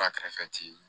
Ba kɛrɛfɛ ti